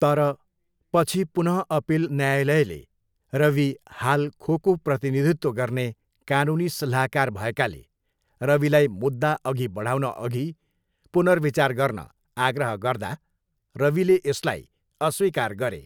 तर, पछि पुनःअपिल न्यायलयले रवि हाल खोको प्रतिनिधित्व गर्ने कानुनी सल्लाहकार भएकाले रविलाई मुद्दा अघि बढाउनअघि पुनर्विचार गर्न आग्रह गर्दा रविले यसलाई अस्वीकार गरे।